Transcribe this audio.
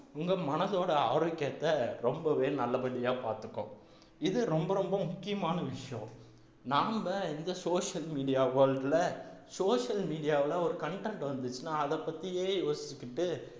உங்க மனசோட ஆரோக்கியத்தை ரொம்பவே நல்லபடியா பார்த்துக்கும் இது ரொம்ப ரொம்ப முக்கியமான விஷயம் நாம்ப இந்த social media world ல social media ல ஒரு content வந்துச்சுன்னா அதை பத்தியே யோசிச்சுக்கிட்டு